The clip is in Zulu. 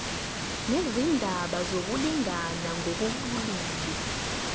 nezindaba zokulingana ngokobulili